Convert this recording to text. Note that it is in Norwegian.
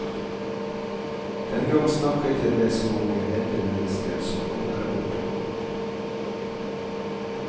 Dengang snakket jeg med så mange eldre mennesker, som alle er borte nå.